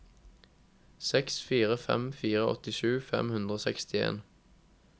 seks fire fem fire åttisju fem hundre og sekstien